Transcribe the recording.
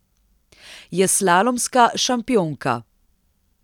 Je slalomska šampionka.